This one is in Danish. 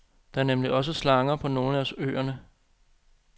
Der er nemlig også slanger på nogle af øerne.